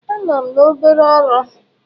Anọ m na obere ọrụ.